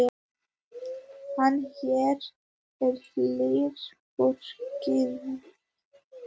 En hér er herbergið þitt.